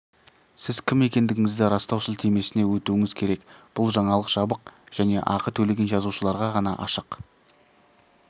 сіз кім екендігіңізді растау сілтемесіне өтуіңіз керек бұл жаңалық жабық және ақы төлеген жазылушыларға ғана ашық